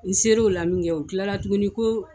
N seriw la min kɛ u kilara tuguni ko